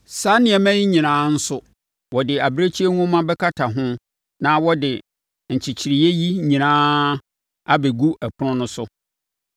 Saa nneɛma yi nyinaa nso, wɔde abirekyie nhoma bɛkata ho na wɔde nkyekyereeɛ yi nyinaa abɛgu ɛpono so.